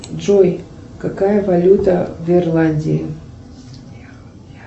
джой какая валюта в ирландии